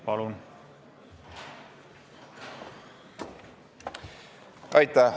Palun!